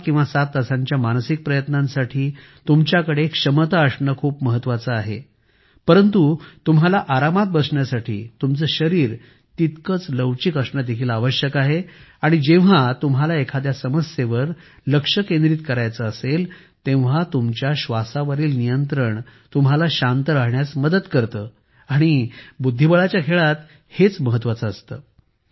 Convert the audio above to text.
6 किंवा 7 तासांच्या मानसिक प्रयत्नांसाठी तुमच्याकडे क्षमता असणे खूप महत्वाचे आहे परंतु तुम्हाला आरामात बसण्यासाठी तुमचे शरीर तितकेच लवचिक असणे देखील आवश्यक आहे आणि जेव्हा तुम्हाला एखाद्या समस्येवर लक्ष केंद्रित करायचे असेल तेव्हा तुमच्या श्वासावरील नियंत्रण तुम्हाला शांत राहण्यास मदत करते आणि बुद्धिबळाच्या खेळात हेच महत्वाचे असते